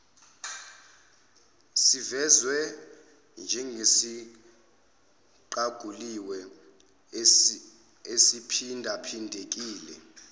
sivezwe njengesiqaguliwe esiphindaphindekile